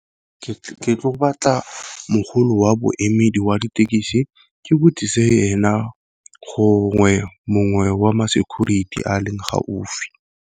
Ke tlo go batla mogolo wa boemedi wa dithekisi ke botsise ena, gongwe mongwe wa ma security a leng gaufi.